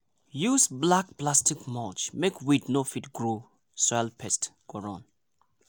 use black plastic mulch make weed no fit grow soil pest go run.